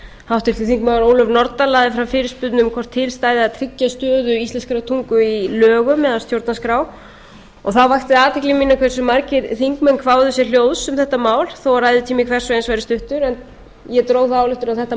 háttvirtir þingmenn ólöf nordal lagði fram fyrirspurn um hvort til stæði að tryggja stöðu íslenskrar tungu í lögum eða stjórnarskrá þá vakti athygli mína hversu margir þingmenn kváðu sér hljóðs um þetta mál þó að ræðutími hvers og eins væri stuttur en ég dró þá ályktun að þetta